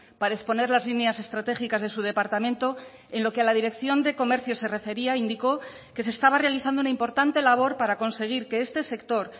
para exponer las líneas estratégicas de su departamento en lo que a la dirección de comercio se refería indicó que se estaba realizando una importante labor para conseguir que este sector